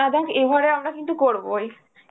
দেখ, এবারে আমরা কিন্তু করবোই